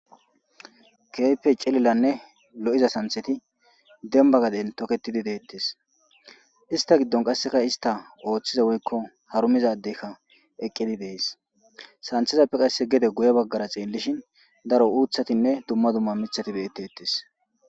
Kehipe lo'izane c'ilila santhati demba gaden toketidi detes ista gidon qaseka ista othida woyko harumiza adey eqidi dees santatappe qase guye bagara xelishini daro utatine duma duma mitati betetes.